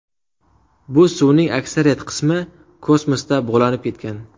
Bu suvning aksariyat qismi kosmosda bug‘lanib ketgan.